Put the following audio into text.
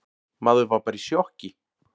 Maður var bara í sjokki.